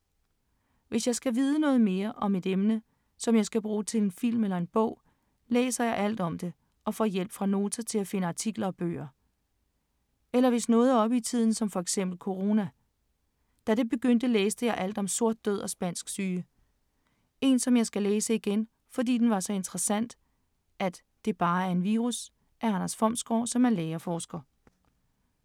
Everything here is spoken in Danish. Hvis jeg skal vide noget om et emne, som jeg skal bruge til en film eller en bog, læser jeg alt om det og får hjælp fra Nota til at finde artikler og bøger. Eller hvis noget er oppe i tiden som for eksempel corona. Da det begyndte, læste jeg alt om sort død og spansk syge. Én som jeg skal læse igen, fordi den var så interessant, er ”Det er bare en virus”, af Anders Fomsgaard, som er læge og forsker.